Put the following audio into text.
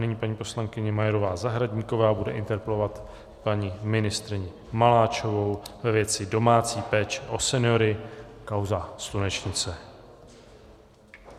Nyní paní poslankyně Majerová Zahradníková bude interpelovat paní ministryni Maláčovou ve věci domácí péče o seniory, kauza Slunečnice.